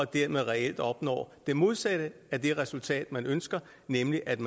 dermed reelt opnår det modsatte af det resultat man ønsker nemlig at